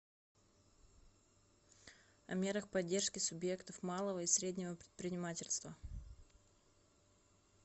о мерах поддержки субъектов малого и среднего предпринимательства